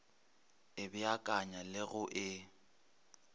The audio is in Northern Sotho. e beakanya le go e